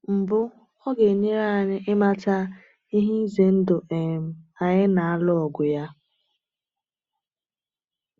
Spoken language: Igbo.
Mbụ, ọ ga-enyere anyị ịmata ihe ize ndụ um anyị na-alụ ọgụ ya.